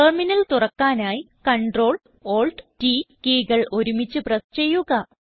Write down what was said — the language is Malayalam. ടെർമിനൽ തുറക്കാനായി CTRL എടിഎൽ T കീ കൾ ഒരുമിച്ച് പ്രസ് ചെയ്യുക